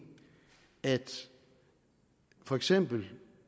at for eksempel